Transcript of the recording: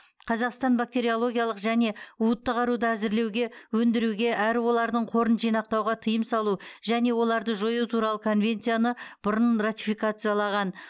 қазақстан бактериологиялық және уытты қаруды әзірлеуге өндіруге әрі олардың қорын жинақтауға тыйым салу және оларды жою туралы конвенцияны бұрын ратификациялаған